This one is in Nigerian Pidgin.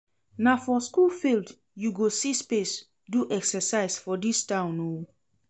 Na for skool field you go see space do exercise for dis town o.